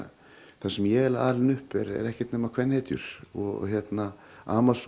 þar sem ég er alin upp er ekkert nema kvenhetjur og